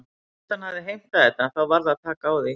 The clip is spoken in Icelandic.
En fyrst hann hafði heimtað þetta þá varð að taka því.